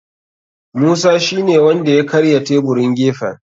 Musa shine wanda ya karya taburin gefen.